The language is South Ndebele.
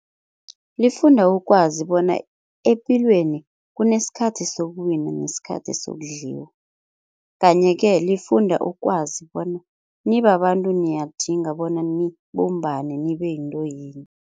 Lifunda ukwazi bona epilweni kunesikhathi sokuwina nesikhathi sokudliwa, kanye-ke lifunda ukwazi bona nibabantu niyakudinga bona nibumbane nibe yinto yinye.